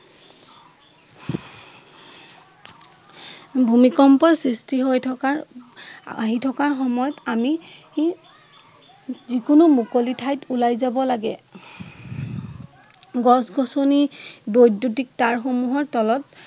ভূমিকম্প সৃষ্টি হৈ থকা আহি থকা সময়ত আমি ই যিকেনো মুকলি ঠাইলৈ ওলাই যাব লাগে। গছ-গছনি বৈদ্য়ুতিক তাঁৰ সমূহৰ তলত